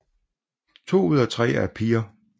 To ud af tre er piger